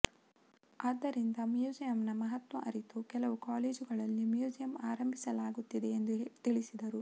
ಆದ್ದರಿಂದ ಮ್ಯೂಸಿಯಂನ ಮಹತ್ವ ಅರಿತು ಕೆಲವು ಕಾಲೇಜುಗಳಲ್ಲಿ ಮ್ಯೂಸಿಯಂ ಆರಂಭಿಸಲಾಗುತ್ತಿದೆ ಎಂದು ತಿಳಿಸಿದರು